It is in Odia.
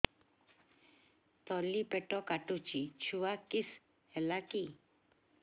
ତଳିପେଟ କାଟୁଚି ଛୁଆ କିଶ ହେଲା କି